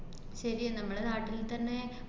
ശെരിയാ നമ്മടെ നാട്ടില് തന്നെ